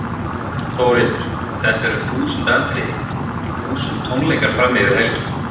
Þórhildur: Þetta er um þúsund atriði, þúsund tónleikar fram yfir helgi?